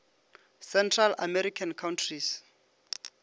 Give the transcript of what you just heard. central american countries